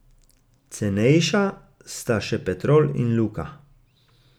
Cenejša sta še Petrol in Luka.